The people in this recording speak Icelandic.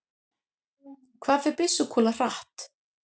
hvað fer byssukúla hratt